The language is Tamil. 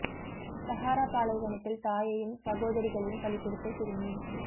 சஹாரா பாலைவனத்தில் தாயையும் சகோதரிகளையும் பலி கொடுத்த சிறுமி